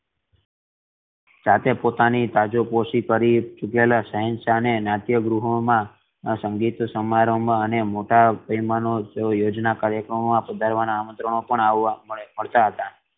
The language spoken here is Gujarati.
સાથે પોતાની તાજપોશી કરી રૂકેલા શહેનશાહ ને નાટ્યગૃહમાં સંગીત સમારોહ મા મોટા યોજના કાર્યક્રમો મા પધારવાના આમંત્રણો પણ મળે મળતા હતા